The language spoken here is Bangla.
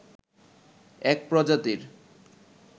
এক প্রজাতির